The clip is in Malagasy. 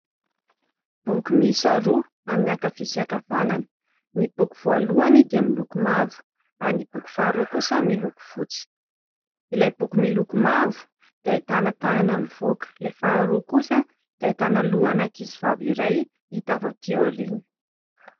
Boky miisa roa amin'ny ankavia sy ankavanana. Ny boky voalohany dia miloko mavo ary ny boky faharoa kosa miloko fotsy, ilay boky miloko mavo dia ahitana tanana mivoaka, ilay faharoa kosa dia ahitana lohana ankizivavy iray hita avy aty aoriana.